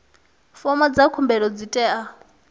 fomo dza khumbelo dzi tea